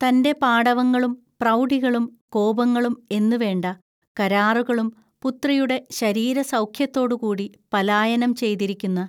തന്റെ പാടവങ്ങളും പ്രൗഢികളും കോപങ്ങളും എന്നുവേണ്ട കരാറുകളും പുത്രിയുടെ ശരീരസൗഖ്യത്തോടുകൂടി പലായനം ചെയ്തിരിക്കുന്ന